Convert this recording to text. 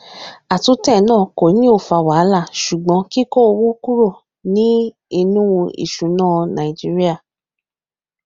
atún tẹ na kò ní ọ fà wàhálà sugbon kiko owó kúrò ní inú isuna naijiria